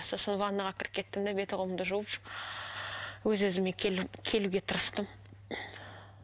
сосын ванныйға кіріп кеттім де беті қолымды жуып өз өзіме келу келуге тырыстым